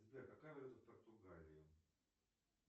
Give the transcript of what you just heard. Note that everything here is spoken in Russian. сбер какая валюта в португалии